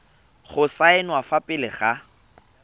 go saenwa fa pele ga